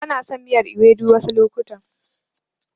Bana son miyar Ewedu wasu lokutan.